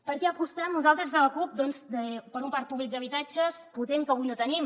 per què apostem nosaltres des de la cup doncs per un parc públic d’habitatges potent que avui no tenim